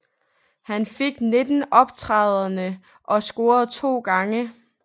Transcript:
Han fik 19 optrædender og scorede to gange